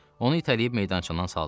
Onu itələyib meydançadan saldılar.